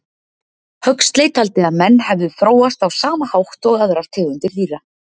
Huxley taldi að menn hefðu þróast á sama hátt og aðrar tegundir dýra.